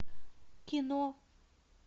кино